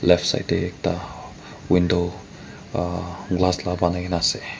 left side teh ekta window aa glass lah banai ke na ase.